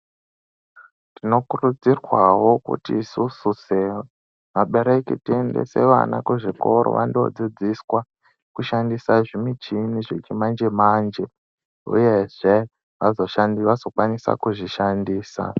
Tinokurudzirwawo kuti isusu sevabereki tiendese vana kuzvikoro vando dzidziswa kushandisa zvimichini zvechimanjemanje uyezve vazokwanise kuzvishandisa .